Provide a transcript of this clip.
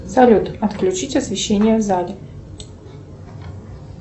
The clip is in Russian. салют отключить освещение в зале